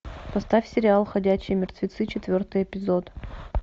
поставь сериал ходячие мертвецы четвертый эпизод